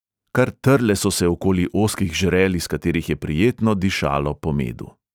Kar trle so se okoli ozkih žrel, iz katerih je prijetno dišalo po medu.